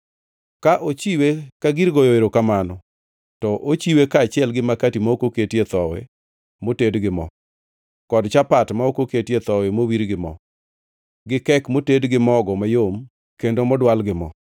“ ‘Ka ochiwe ka gir goyo erokamano, to ochiwe kaachiel gi makati ma ok oketie thowi moted gi mo, kod chapat ma ok oketie thowi mowir gi mo, gi kek moted gi mogo mayom kendo modwal gi mo.